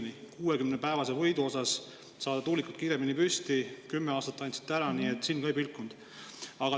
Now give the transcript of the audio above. Selleks 60-päevaseks võiduks, et saada tuulikud kiiremini püsti, andsite te 10 aastat ära, nii et silm ka ei pilkunud.